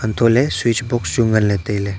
to le switch box chu ngan ley tai ley.